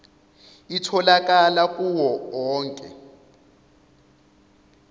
itholakala kuwo onke